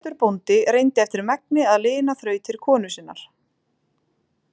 Pétur bóndi reyndi eftir megni að lina þrautir konu sinnar.